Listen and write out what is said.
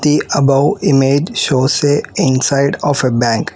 the above image shows a inside of a bank.